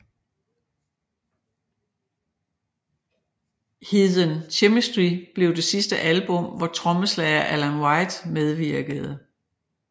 Heathen Chemistry blev det sidste album hvor trommeslager Alan White medvirkede